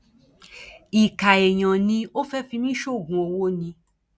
ìkà èèyàn ni ò fẹẹ fi mí sóògùn owó ni